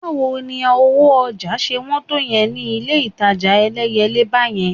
Báwo ni owó ọjà ṣe wọ́n tó yẹn ni ilé-ìtajà Ẹlẹ́yẹlé báyẹn?